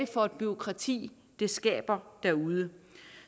for et bureaukrati det skaber derude